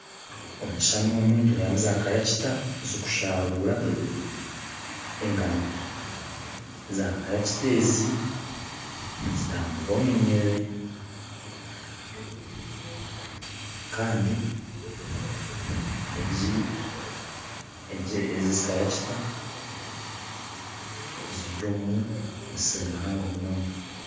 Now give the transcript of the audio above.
Omu kishushani omu nitureebamu zaaturakita zirikushaaruura engano, zaaturakita ezi nizitambura omu nyiriri kandi egi egi ezi zaaturakita ziri omu musiri muhango munonga